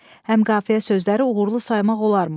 Həm qafiyə sözləri uğurlu saymaq olarmı?